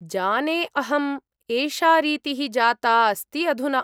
जाने अहम्, एषा रीतिः जाता अस्ति अधुना।